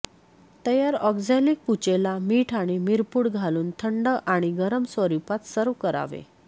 तयार ऑक्झॅलिक पुचेला मिठ आणि मिरपूड घालून थंड आणि गरम स्वरूपात सर्व्ह करावे